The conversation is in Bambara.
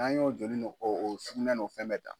N'an y'o joli ni o o sugunɛ n'o fɛn bɛɛ ta.